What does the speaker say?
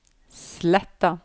Sletta